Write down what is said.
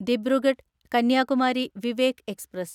Dibrugarh Kanyakumari Vivek express